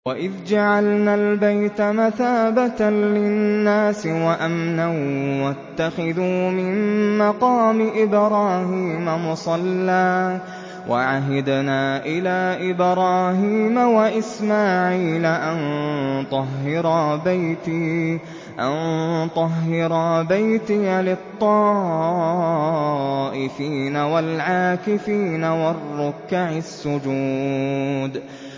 وَإِذْ جَعَلْنَا الْبَيْتَ مَثَابَةً لِّلنَّاسِ وَأَمْنًا وَاتَّخِذُوا مِن مَّقَامِ إِبْرَاهِيمَ مُصَلًّى ۖ وَعَهِدْنَا إِلَىٰ إِبْرَاهِيمَ وَإِسْمَاعِيلَ أَن طَهِّرَا بَيْتِيَ لِلطَّائِفِينَ وَالْعَاكِفِينَ وَالرُّكَّعِ السُّجُودِ